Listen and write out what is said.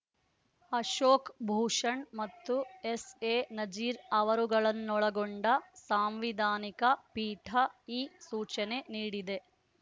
ಅಶೋಕ್ ಭೂಷಣ್ ಮತ್ತು ಎಸ್ಎ ನಜೀರ್ ಅವರುಗಳನ್ನೊಳಗೊಂಡ ಸಾಂವಿಧಾನಿಕ ಪೀಠ ಈ ಸೂಚನೆ ನೀಡಿದೆ